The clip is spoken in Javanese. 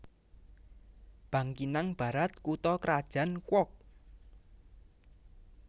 Bangkinang Barat kutha krajan Kuok